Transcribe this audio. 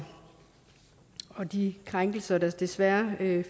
og de krænkelser der desværre